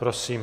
Prosím.